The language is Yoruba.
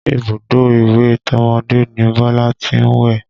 Ibùdó ìwẹ̀ tọmọdé ni Bọ́lá tí ń wẹ̀